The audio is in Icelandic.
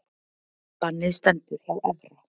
Bannið stendur hjá Evra